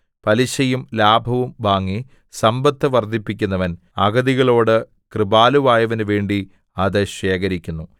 പലിശയും ലാഭവും വാങ്ങി സമ്പത്ത് വർദ്ധിപ്പിക്കുന്നവൻ അഗതികളോട് കൃപാലുവായവനു വേണ്ടി അത് ശേഖരിക്കുന്നു